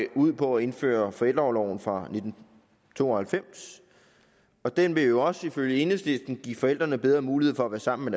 ud på at indføre forældreorloven fra nitten to og halvfems den vil jo også ifølge enhedslisten give forældrene bedre mulighed for at være sammen